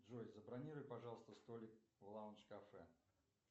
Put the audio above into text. джой забронируй пожалуйста столик в лаундж кафе